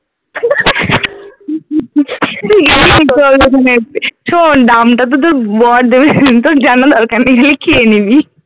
শোন দাম টা তো ব~ বড় দেবে তোর জানার দরকার নেই এই খেয়ে নিবি